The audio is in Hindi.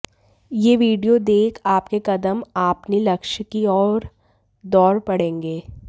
यह वीडियो देख आपके कदम आपनी लक्ष्य की ओर दौड़ पड़ेंगे